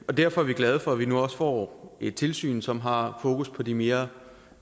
derfor er vi glade for at vi nu også får et tilsyn som har fokus på de mere